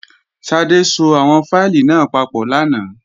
Ṣadé so àwọn fáìlì náà papọ̀ lánàá